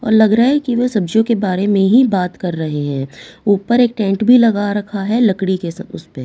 और लग रहा है कि वो सब्जियों के बारे में ही बात कर रहे हैं ऊपर एक टेंट भी लगा रखा है लकड़ी के सब उस पे।